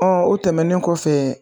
o tɛmɛnen kɔfɛ